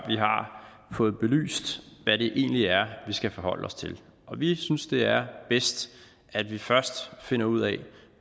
fået belyst hvad det egentlig er vi skal forholde os til og vi synes det er bedst at vi først finder ud af